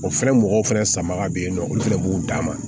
O fɛnɛ mɔgɔw fɛnɛ samara be yen nɔ olu fɛnɛ b'u dan ma